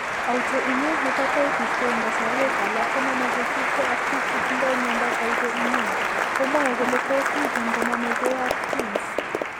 Autoimmune hepatitis ko eng' kasarwek alak koname che tupcho ak biik che tindo mnyandoap Autoimmune, komwoe kole tos' miten koname ke ak genes.